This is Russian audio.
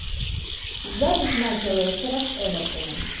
запись матча лестера с эвертоном